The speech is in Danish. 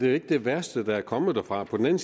er det værste der er kommet derfra på den